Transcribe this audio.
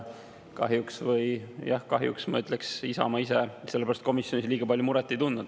Kahjuks – jah, kahjuks – ma ütleks, et Isamaa ise selle pärast komisjonis liiga palju muret ei tundnud.